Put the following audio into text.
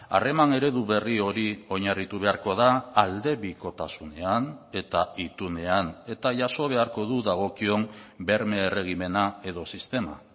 harreman eredu berri hori oinarritu beharko da aldebikotasunean eta itunean eta jaso beharko du dagokion berme erregimena edo sistema